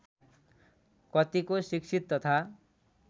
कतिको शिक्षित तथा